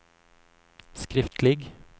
skriftlig